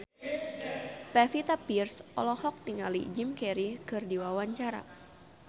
Pevita Pearce olohok ningali Jim Carey keur diwawancara